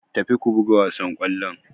Tafi ku buga wassan kollon.